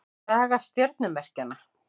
Saga stjörnumerkjanna.